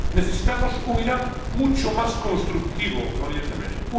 Necesitamos un Irán mucho más constructivo en Oriente Próximo.